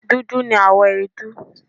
Dudu ni àwọ̀ èédú